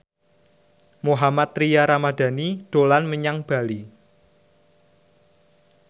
Mohammad Tria Ramadhani dolan menyang Bali